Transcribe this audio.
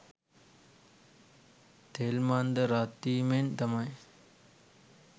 තෙල්මන්ද රත්වීමෙන් තමයි